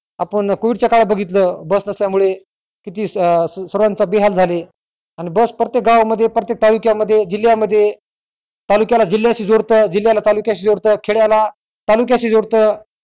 आपण covid च्य काळात बगीतल अं बस नसल्यामुळे किती स अं सर्वांचे बेहाल जाले बस प्रत्येक गावामध्ये प्रत्येक तालुक्यामध्ये जिल्यामध्ये तालुक्याला जिल्याशी जुळत जिल्याला तालुक्याशी जुळत खेड्याला तालुक्याशी जुळत